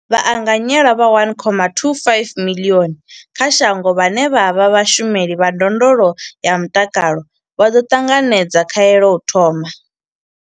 Vhaanganyelwa vha 1.25 miḽioni kha shango vhane vha vha vhashumeli vha ndondolo ya mutakalo vha ḓo ṱanganedza khaelo u thoma.